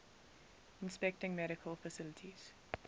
inspecting medical facilities